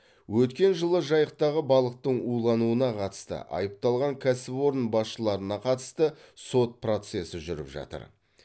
өткен жылы жайықтағы балықтың улануына қатысты айыпталған кәсіпорын басшыларына қатысты сот процесі жүріп жатыр